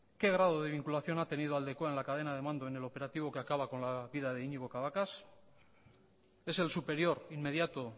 qué grado de vinculación ha tenido aldekoa en la cadena de mando en el operativo que acaba con la vida de iñigo cabacas es el superior inmediato